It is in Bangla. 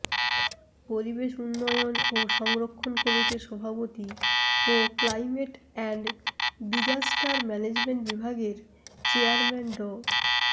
পরিবেশ উন্নয়ন ও সংরক্ষণ কমিটির সভাপতি ও ক্লাইমেট অ্যান্ড ডিজাস্টার ম্যানেজমেন্ট বিভাগের চেয়ারম্যান ড